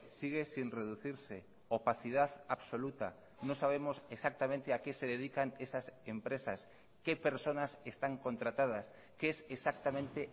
sigue sin reducirse opacidad absoluta no sabemos exactamente a qué se dedican esas empresas qué personas están contratadas qué es exactamente